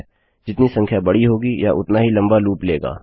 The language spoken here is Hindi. जितनी संख्या बड़ी होगी यह उतना ही लम्बा लूप लेगा